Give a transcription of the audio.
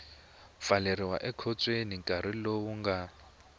pfaleriwa ekhotsweni nkarhi lowu nga